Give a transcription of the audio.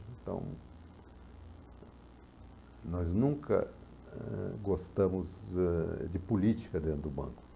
Então, nós nunca eh gostamos eh de política dentro do banco.